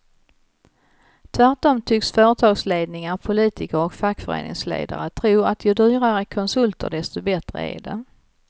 Tvärtom tycks företagsledningar, politiker och fackföreningsledare tro att ju dyrare konsulter desto bättre är det.